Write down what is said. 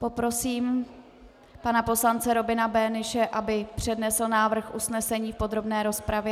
Poprosím pana poslance Robina Böhnische, aby přednesl návrh usnesení v podrobné rozpravě.